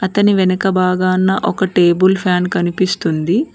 అతని వెనక బాగాన ఒక టేబుల్ ఫ్యాన్ కనిపిస్తుంది.